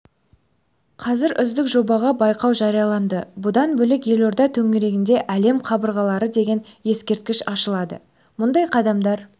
қазір үздік жобаға байқау жарияланды бұдан бөлек елорда төрінде әлем қабырғалары деген ескерткіш ашылады мұндай қадамдар